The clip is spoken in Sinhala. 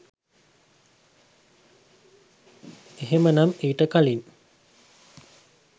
එහෙමනම් ඊට කලින්